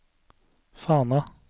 Fana